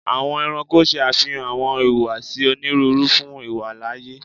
Awọn ẹranko ṣe afihan awọn ihuwasi oniruuru fun iwalaaye